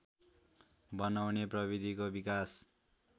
बनाउने प्रविधिको विकास